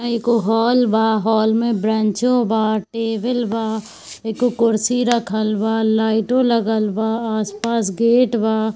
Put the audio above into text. एगो हॉल बा हॉल में ब्रैंचो बा टेबल बा एगो कुर्सी रखल बा लाइटो लागल बा आस-पास गेट बा।